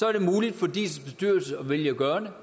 er det muligt for diis bestyrelse at vælge at gøre